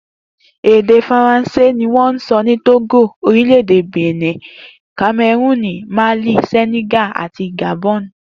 Èdè Faransé ni wó̩n ń so̩ ní Tógò, orílè̩-èdè Benin, Kame̩rúùnì, Málì, Sè̩nè̩gà àti Gàbo̩n